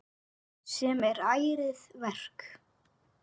Sem er ærið verk.